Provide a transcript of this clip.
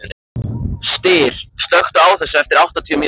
Styr, slökktu á þessu eftir áttatíu mínútur.